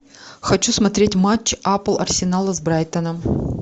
хочу смотреть матч апл арсенал с брайтоном